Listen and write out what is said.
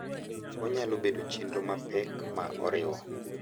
Onyalo bedo chenro mapek ma oriwo